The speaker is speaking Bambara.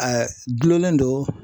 A dulonnen don